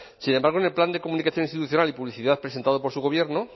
sin embargo en el plan de comunicación institucional y publicidad presentado por su gobierno